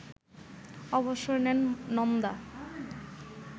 অবসর নেন নন্দা